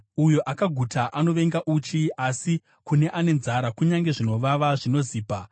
Uyo akaguta anovenga uchi, asi kune ane nzara kunyange zvinovava zvinozipa.